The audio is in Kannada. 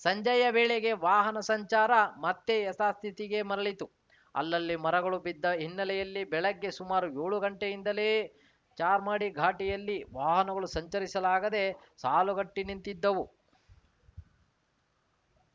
ಸಂಜೆಯ ವೇಳೆಗೆ ವಾಹನ ಸಂಚಾರ ಮತ್ತೆ ಯಥಾಸ್ಥಿತಿಗೆ ಮರಳಿತು ಅಲ್ಲಲ್ಲಿ ಮರಗಳು ಬಿದ್ದ ಹಿನ್ನೆಲೆಯಲ್ಲಿ ಬೆಳಗ್ಗೆ ಸುಮಾರು ಯೋಳು ಗಂಟೆಯಿಂದಲೇ ಚಾರ್ಮಾಡಿ ಘಾಟಿಯಲ್ಲಿ ವಾಹನಗಳು ಸಂಚರಿಸಲಾಗದೆ ಸಾಲುಗಟ್ಟಿನಿಂತಿದ್ದವು